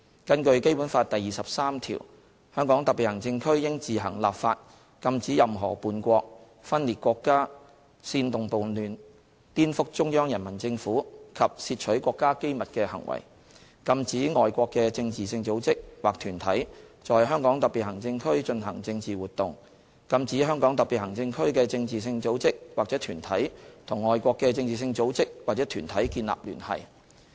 根據《基本法》第二十三條，"香港特別行政區應自行立法禁止任何叛國、分裂國家、煽動叛亂、顛覆中央人民政府及竊取國家機密的行為，禁止外國的政治性組織或團體在香港特別行政區進行政治活動，禁止香港特別行政區的政治性組織或團體與外國的政治性組織或團體建立聯繫"。